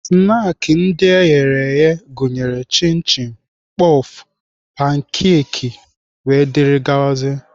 Snaakị ndị eghere eghe gụnyere chịn chịn, pọf, pankakị wdg.